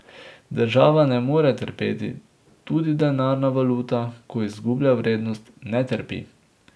Država ne more trpeti, tudi denarna valuta, ko izgublja vrednost, ne trpi.